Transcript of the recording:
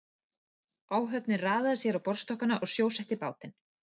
Áhöfnin raðaði sér á borðstokkana og sjósetti bátinn.